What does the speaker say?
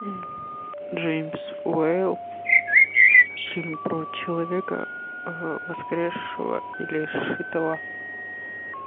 джеймс уэйл фильм про человека воскресшего или сшитого